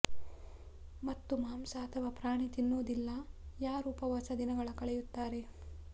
ಮತ್ತು ಮಾಂಸ ಅಥವಾ ಪ್ರಾಣಿ ತಿನ್ನುವುದಿಲ್ಲ ಯಾರು ಉಪವಾಸ ದಿನಗಳ ಕಳೆಯುತ್ತಾನೆ